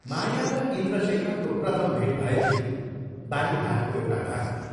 माया र इन्द्रशेखरको प्रथम भेट भएथ्यो बालीघाटको एउटा घरमा।